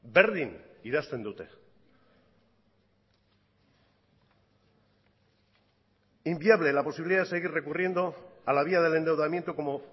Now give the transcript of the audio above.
berdin idazten dute inviable la posibilidad de seguir recurriendo a la vía del endeudamiento como